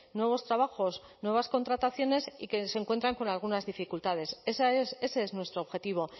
nuevos trabajos nuevas contrataciones y que se encuentran con algunas dificultades ese es nuestro objetivo